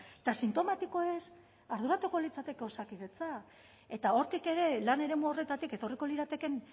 eta sintomatikoez arduratuko litzateke osakidetza eta hortik ere lan eremu horretatik etorriko liratekeen